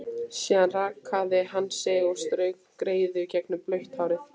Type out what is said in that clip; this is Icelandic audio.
Síðan rakaði hann sig og strauk greiðu gegnum blautt hárið.